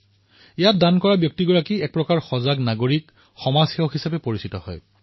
ইয়াৰ দান কৰা প্ৰতিজন ব্যক্তি এক প্ৰকাৰে সমাজ সেৱকলৈ পৰিৱৰ্তিত হয়